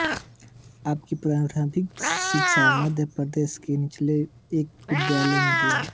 आपकी प्रारम्भिक शिक्षा मध्य प्रदेश के नीमच के एक विद्यालय में हुई